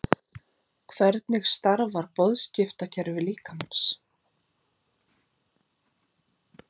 hvernig starfar boðskiptakerfi líkamans